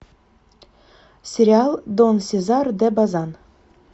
сериал дон сезар де базан